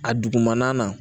A dugumana na